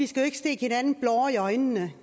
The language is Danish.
skal stikke hinanden blår i øjnene